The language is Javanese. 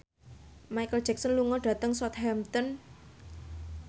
Micheal Jackson lunga dhateng Southampton